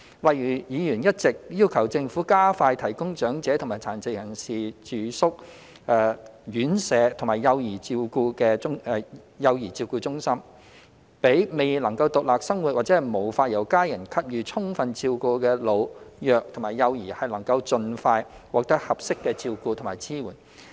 例如，議員一直要求政府加快提供長者和殘疾人士住宿院舍及幼兒照顧中心，讓未能獨立生活或無法由家人給予充分照顧的老、弱和幼兒能夠盡快獲得合適的照顧和支援。